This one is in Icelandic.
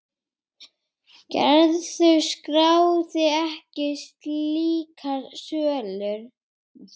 Gerður skráði ekki slíkar sölur.